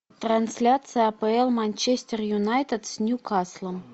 трансляция апл манчестер юнайтед с ньюкаслом